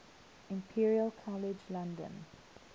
imperial college london